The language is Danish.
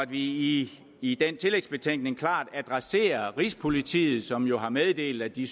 i i den tillægsbetænkning adresserer rigspolitiet som jo har meddelt at de